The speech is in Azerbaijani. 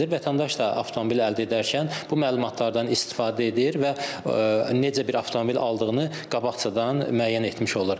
Vətəndaş da avtomobil əldə edərkən bu məlumatlardan istifadə edir və necə bir avtomobil aldığını qabaqcadan müəyyən etmiş olur.